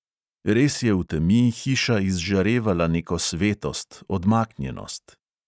Res je v temi hiša izžarevala neko svetost, odmaknjenost.